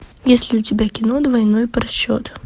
есть ли у тебя кино двойной просчет